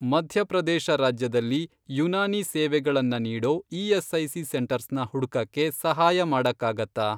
ಮಧ್ಯ ಪ್ರದೇಶ ರಾಜ್ಯದಲ್ಲಿ ಯುನಾನಿ ಸೇವೆಗಳನ್ನ ನೀಡೋ ಇ.ಎಸ್.ಐ.ಸಿ. ಸೆಂಟರ್ಸ್ನ ಹುಡ್ಕಕ್ಕೆ ಸಹಾಯ ಮಾಡಕ್ಕಾಗತ್ತಾ?